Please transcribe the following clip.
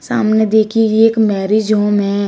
सामने देखी गई ये एक मैरिज होम है।